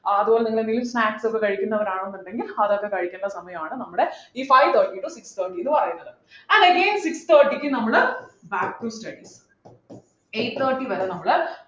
ഏർ അതുപോലെ നിങ്ങൾ എന്തെങ്കിലും snacks ഒക്കെ കഴിക്കുന്നവരാണെന്നുണ്ടെങ്കിൽ അതൊക്കെ കഴിക്കുന്ന സമയമാണ് നമ്മുടെ ഈ five thirty to six thirty ന്നു പറയുന്നത് six thirty ക്ക് നമ്മള് back to study eight thirty വരെ നമ്മള്